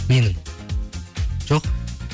менің жоқ